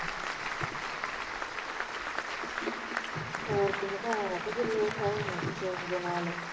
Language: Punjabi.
ਹੋਰ ਦੇ ਨਾਲ